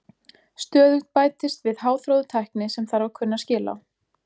Stöðugt bætist við háþróuð tækni sem þarf að kunna skil á.